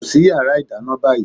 Kọrí sí yàrá ìdáná báyìí!